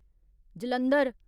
Jalandhar